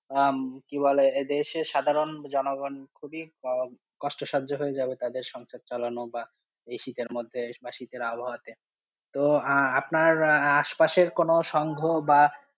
আহ কি বলে এদেশে সাধারণ জনগণ খুবই কষ্ট সহ্য হয়ে যাবে, তাদের সংসার চালানো বা এই শীতের মধ্যে বা শীতের আবহাওয়াতে, তো আপনার আশপাশের কোনো সংহু বা.